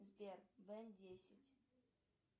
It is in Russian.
сбер бен десять